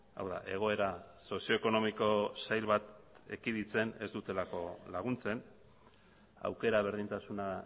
hau da egoera sozio ekonomiko sail bat ekiditzen ez dutelako laguntzen aukera berdintasuna